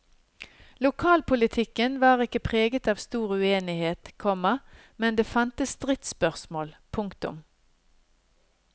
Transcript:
Lokalpolitikken var ikke preget av stor uenighet, komma men det fantes stridsspørsmål. punktum